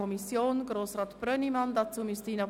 Kommissionssprecher